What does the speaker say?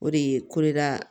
O de ye ko de ka